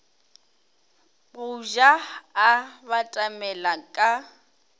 go ja a batamela ka